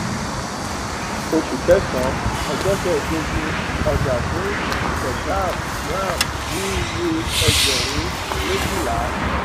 oṣù kẹsànán ọjọ kẹẹdógún ọjà fún keshav ram ní iye ẹgbẹrún méjìlá